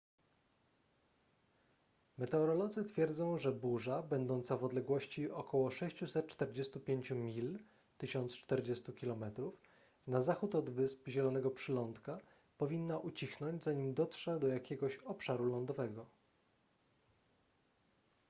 meteorolodzy twierdzą że burza będąca w odległości około 645 mil 1040 km na zachód od wysp zielonego przylądka powinna ucichnąć zanim dotrze do jakiegoś obszaru lądowego